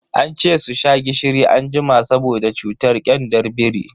Ance su sha gishiri anjima saboda cutar kyandar biri.